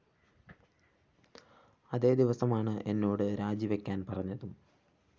അതേ ദിവസമാണ് എന്നോട് രാജിവയ്ക്കാന്‍ പറഞ്ഞതും